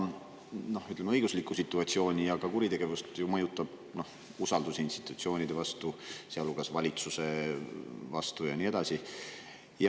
Eks riigis seda õigus ja ka kuritegevust ju mõjutab usaldus institutsioonide vastu, sealhulgas valitsuse vastu ja nii edasi.